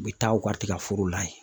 U bɛ taa u ka tigɛforow la yen.